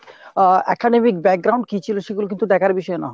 আহ academic কী ছিল সেগুলো কিন্তু দেখার বিষয় না।